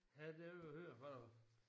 Ja det vil høre fra dig